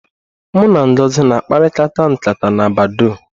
Mụ na Ngozi na akparịkata nkata na badọọ́.